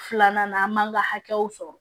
Filanan na an b'an ka hakɛw sɔrɔ